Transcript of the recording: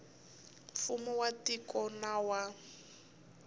mfumo wa tiko na wa